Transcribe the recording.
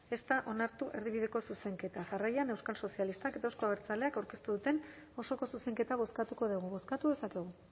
ez da onartu erdibideko zuzenketa jarraian euskal sozialistak eta euzko abertzaleak aurkeztu duten osoko zuzenketa bozkatuko dugu bozkatu dezakegu